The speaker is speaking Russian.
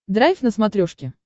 драйв на смотрешке